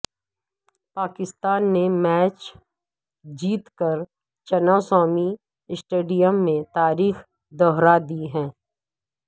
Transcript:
پاکستان نے میچ جیت کر چنا سوامی اسٹیڈیم میں تاریخ دہرا دی ہے